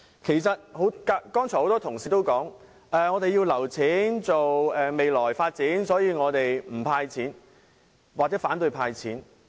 剛才很多同事說，我們要預留款項作未來發展，所以反對政府"派錢"。